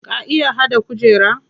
Ka iya haɗa kujera?